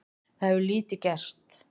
Það hefur lítið gerst.